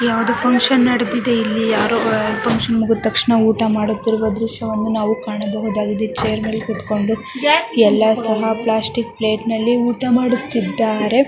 ಯಾವ್ದೋ ಫಂಕ್ಷನ್ ನಡಿತಿದೆ ಇಲ್ಲಿ ಯಾರೂ ಫಂಕ್ಷನ್ ಮುಗುತಕ್ಷಣ ಊಟ ಮಾಡುತ್ತಿರುವ ದೃಶ್ಯವನ್ನು ನಾವು ಕಾಣಬಹುದಾಗಿದೆ ಚೇರ್ ಮೇಲೆ ಕೂತ್ಕೊಂಡು ಎಲ್ಲ ಸಹ ಪ್ಲಾಸ್ಟಿಕ್ ಪ್ಲೇಟ್ ನಲ್ಲಿ ಊಟ ಮಾಡುತ್ತಿದ್ದಾರೆ.